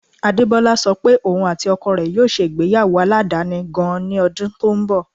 Adebọla sọ pé ọún àti oko rẹ̀ yóò ṣé igbeyawo aládani gan-an ní odun tó n bọ̀.